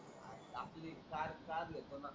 आपली car car घेतो ना.